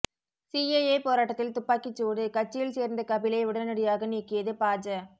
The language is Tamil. சிஏஏ போராட்டத்தில் துப்பாக்கிச்சூடு கட்சியில் சேர்ந்த கபிலை உடனடியாக நீக்கியது பாஜ